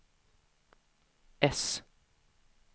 S